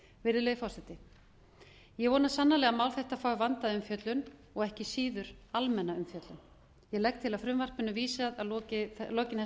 virðulegi forseti ég vona sannarlega að mál þetta fái vandaða umfjöllun og ekki síður almenna umfjöllun ég legg til að frumvarpinu verði að lokinni þessari